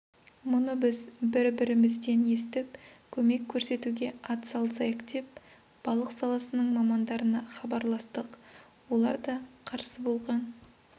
мұны біз бір-бірімізден естіп көмек көрсетуге атсалысайық деп балық саласының мамандарына хабарластық олар да қарсы болған